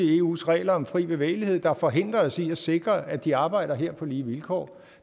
er eus regler om fri bevægelighed der forhindrer os i at sikre at de arbejder her på lige vilkår